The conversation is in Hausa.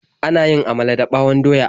Ana yin amala dada ɓawon doya.